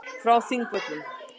Frá Þingvöllum.